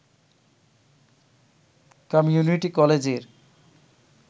community কলেজের